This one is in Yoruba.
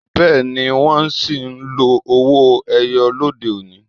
Bẹẹni, wọn sì ń lo owó ẹyọ lóde òní.